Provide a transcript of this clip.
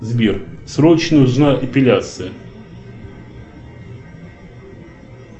сбер срочно нужна эпиляция